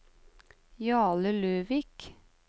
Jarle Løvik